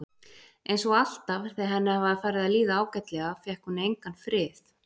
Einsog alltaf þegar henni var farið að líða ágætlega fékk hún engan frið.